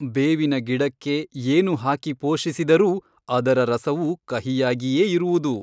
ಬೇವಿನ ಗಿಡಕ್ಕೆ ಏನು ಹಾಕಿ ಪೋಷಿಸಿದರೂ ಅದರ ರಸವು ಕಹಿಯಾಗಿಯೇ ಇರುವುದು.